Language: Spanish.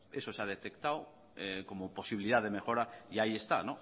eso es se ha detectado como posibilidad de mejora y ahí está